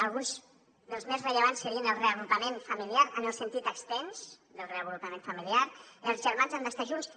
alguns dels més rellevants serien el reagrupament familiar en el sentit extens del reagrupament familiar els germans han d’estar junts